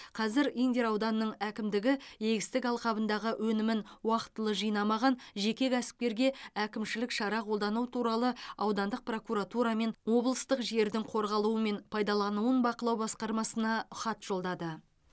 қазір индер ауданының әкімдігі егістік алқабындағы өнімін уақытылы жинамаған жеке кәсіпкерге әкімшілік шара қолдану туралы аудандық прокуратура мен облыстық жердің қорғалуы мен пайдалануын бақылау басқармасына хат жолдады